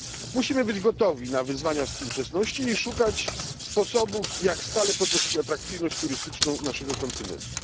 Musimy być gotowi na wyzwania współczesności i szukać sposobów, jak stale podnosić atrakcyjność turystyczną naszego kontynentu.